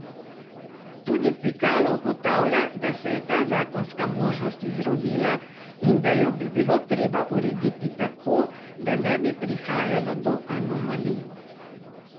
Tudi Pikalo ugotavlja, da se je ta zakonska možnost izrodila in da jo bi bilo treba urediti tako, da ne bi prihajalo do anomalij.